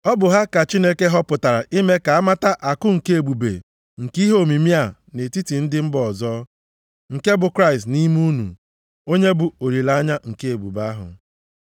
Ọ bụ ha ka Chineke họpụtara ime ka amata akụ nke ebube nke ihe omimi a nʼetiti ndị mba ọzọ, nke bụ Kraịst nʼime unu, onye bụ olileanya nke ebube ahụ.